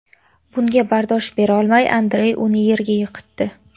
Bunga bardosh berolmay Andrey uni yerga yiqitdi.